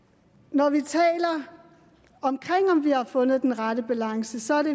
når vi taler om om vi har fundet den rette balance så er det